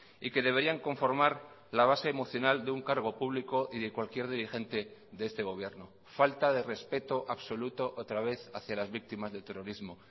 y que deberían conformar la base emocional de un cargo público y de cualquier dirigente de este gobierno falta de respeto absoluto otra vez hacia las víctimas del terrorismo